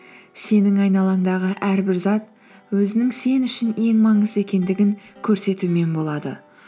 сенің айналаңдағы әрбір зат өзінің сен үшін ең маңызды екендігін көрсетумен болады